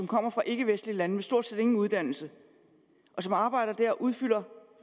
kommer fra ikkevestlige lande og med stort set ingen uddannelse og som arbejder der og udfylder